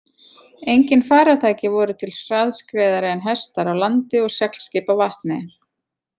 Engin farartæki voru til hraðskreiðari en hestar á landi og seglskip á vatni.